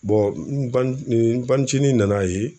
n bani n banicinin nan'a ye